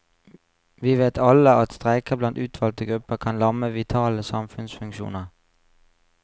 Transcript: Vi vet alle at streiker blant utvalgte grupper kan lamme vitale samfunnsfunksjoner.